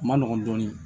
Ma nɔgɔn dɔɔnin